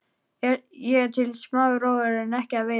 Ég er til í smá róður en ekki að veiða.